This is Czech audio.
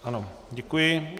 Ano, děkuji.